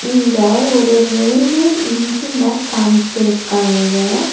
இங்க ஒரு ரயில்வே இஞ்சின காமிச்சிருக்காங்க.